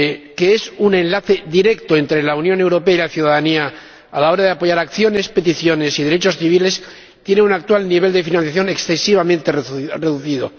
que es un enlace directo entre la Unión Europea y la ciudadanía a la hora de apoyar acciones, peticiones y derechos civiles, tiene un actual nivel de financiación excesivamente reducido.